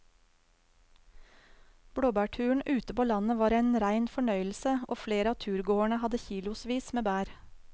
Blåbærturen ute på landet var en rein fornøyelse og flere av turgåerene hadde kilosvis med bær.